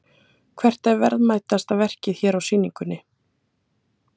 Hvert er verðmætasta verkið hérna á sýningunni?